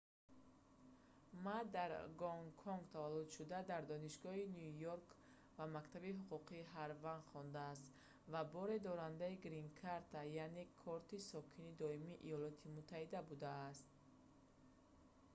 ма дар гонконг таваллуд шуда дар донишгоҳи ню йорк ва мактаби ҳуқуқии ҳарвард хондааст ва боре дорандаи грин кард яъне корти сокини доимии йёлоти муттаҳида будааст